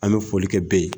An bɛ foli kɛ b ye